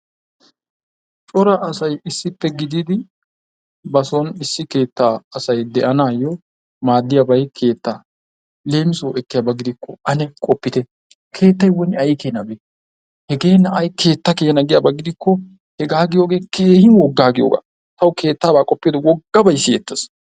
cora asay issippe gididi bason issi keettaa asay de'anaayyoo maaddiyaabay keettaa. leemisuwawu ekkiyaaba gidikko ane qoppite. keettayi woni ayikeenabee! hegee na'ayi keetta keena giyaaba gidikkohegaa giyoogee keehi woggaa giyoogaa. tawu keettabaa qoppiyoode woggabayi siyettees.